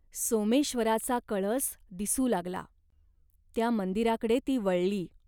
सोमेश्वराचा कळस दिसू लागला. त्या मंदिराकडे ती वळली.